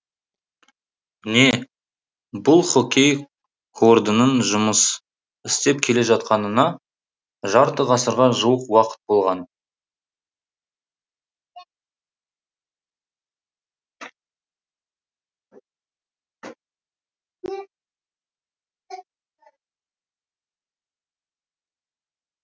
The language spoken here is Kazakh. міне бұл хоккей кордының жұмыс істеп келе жатқанына жарты ғасырға жуық уақыт болған